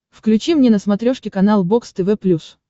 включи мне на смотрешке канал бокс тв плюс